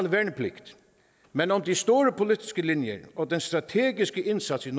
værnepligt men om de store politiske linjer og den strategiske indsats i